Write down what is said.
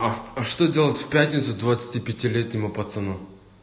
а что делать в пятницу двадцати пяти летнему пацану